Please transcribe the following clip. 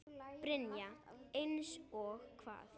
Brynja: Eins og hvað?